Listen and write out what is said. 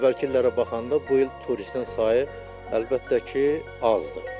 Əvvəlki illərə baxanda bu il turistin sayı əlbəttə ki, azdır.